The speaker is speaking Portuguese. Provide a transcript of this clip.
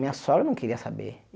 Minha sogra não queria saber.